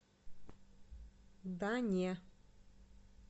да не